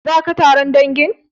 Zaka taron dangin?